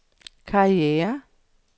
karriere